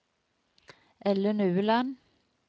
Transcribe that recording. Ellen Ueland